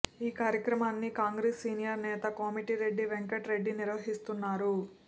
ఈ కార్యక్రమాన్ని కాంగ్రెస్ సీనియర్ నేత కోమటిరెడ్డి వెంకట్ రెడ్డి నిర్వహిస్తున్నారు